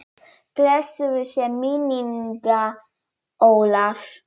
Blessuð sé minning Ólafs.